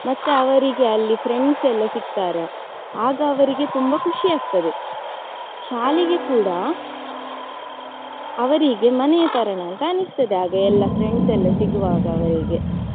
ಮತ್ತೆ ಅವರಿಗೆ ಅಲ್ಲಿ friends ಎಲ್ಲ ಸಿಗ್ತಾರೆ ಆಗ ಅವರಿಗೆ ತುಂಬಾ ಖುಷಿ ಆಗ್ತದೆ. ಶಾಲೆಗೆ ಕೂಡಾ ಅವರಿಗೆ ಮನೆಯತರನೆ ಅಂತ ಅನ್ಸ್ತದೆ ಆಗ ಎಲ್ಲಾ friends ಎಲ್ಲಾ ಸಿಗುವಾಗ ಅವರಿಗೆ.